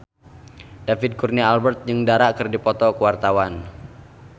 David Kurnia Albert jeung Dara keur dipoto ku wartawan